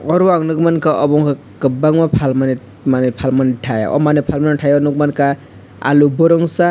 oro ang nugui mankha obo ungkha kwbangma phalmani manui phalmani thai o manui phalmani thaio nukmankha aloo burungsa.